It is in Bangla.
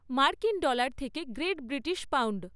মার্কিন ডলার থেকে গ্রেট ব্রিটিশ পাউন্ড